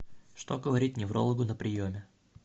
что говорить неврологу на приеме